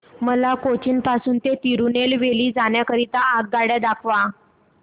मला कोचीन पासून तिरूनेलवेली जाण्या करीता आगगाड्या दाखवा